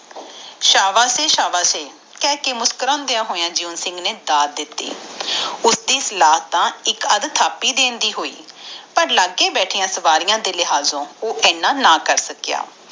ਸ਼ਾਬਾਸ਼ ਏ ਸ਼ਾਬਾਸ਼ ਏ ਕਹਿ ਕੇ ਮੁਸ੍ਕੁਰਾਨਦਿਆ ਹੋਇਆ ਜਿਉਂ ਸਿੰਘ ਨੇ ਦੱਤ ਦਿਤੀ ਉਸਦੀ ਸਲਾਹ ਤਾ ਥਾਪਿ ਦੇਣ ਦੇ ਦਿਤੀ ਪਰ ਲਗੇ ਬੈਠੀ ਸਵਾਰੀਆਂ ਦੇ ਲਿਹਾਜ਼ੋ ਉਹ ਏਦਾਂ ਨਾ ਕਰ ਸਕਿਆ